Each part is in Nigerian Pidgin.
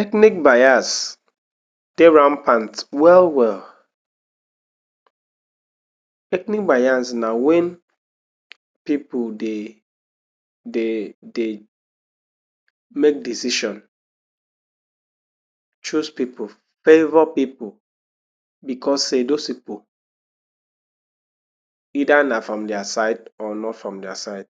Ethnic bias dey rampant well well. Ethnic bias na when pipu dey dey dey make decision, choose pipu, favour pipu because sey those pipu either na from their side or nor from their side.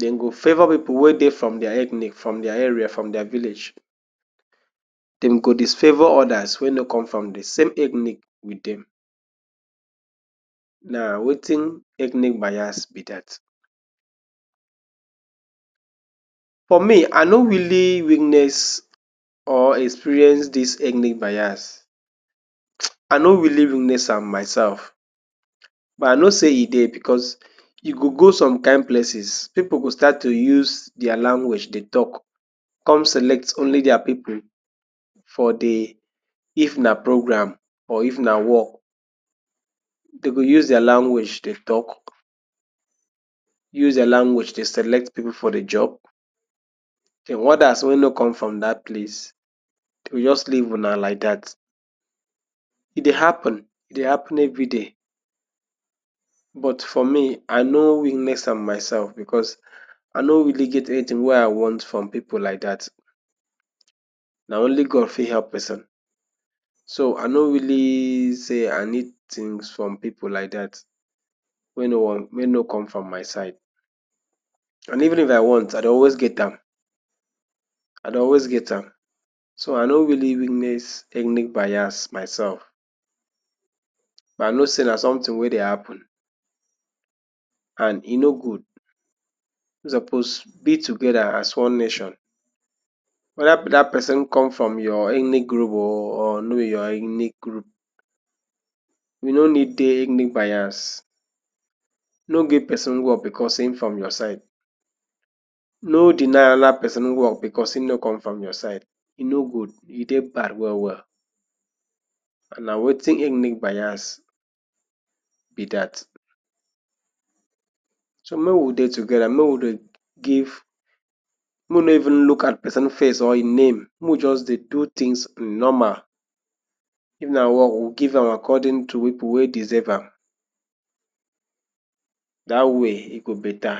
Dem go favour pipu wey dey for their ethnic, from their area, from their village, dem go disfavour others wey nor come from de same ethnic with dem na wetin ethnic bias be dat. For me, I nor really witness or experience dis ethnic bias um I nor really witness am myself but I know sey e dey because you go, go some kind places pipu go start to use their language dey talk come select only their pipu for de, if na program or if na work dem go use their language dey talk use their language select pipu for de job then others wey nor come from dat palce dem just leave una like dat. E dey happen, e dey happen everyday but for me I nor witness am myself because I nor really get anything wey I want from pipu like dat na only God fit help person so I nor really sey I need things from pipu like dat wey nor wey nor come from my side and even if I want I dey always get am I dey always get am so I nor really witness ethnic bias myself but I know sey na something wey dey happen and e nor good we suppose be together as one nation whether dat person come from your ethnic group oh or nor be your ethnic group you nor need dey ethnic bias nor give person work because him come from your side nor deny another person work because him nor come from your side e nor good e dey bad well well na wetin ethnic bias be dat so make we dey together make we dey give make we nor even look at person because face or e name make we just dey do things normal if na work we give am according to pipu wey deserve am. Dat way e go better.